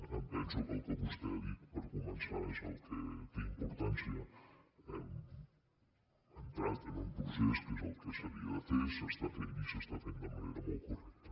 em penso que el que vostè ha dit per començar és el que té importància hem entrat en un procés que és el que s’havia de fer s’està fent i s’està fent de manera molt correcta